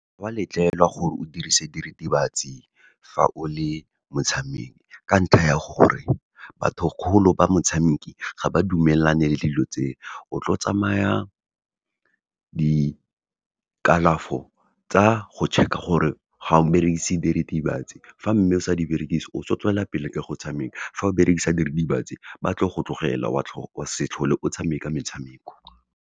Ga wa letlelwa gore o dirise diritibatsi fa o le motshameki, ka ntlha ya gore batho kgolo ba motshameki ga ba dumelane le dilo tseo. O tlo tsamaya di kalafo tsa go check-a gore, ga o berekise diritibatsi, fa mme o sa di berekise o tlo tswelelapele ka go tshameka, fa o berekisa diritibatsi ba tlo go tlogela, wa se tlhole o tshameka metshameko.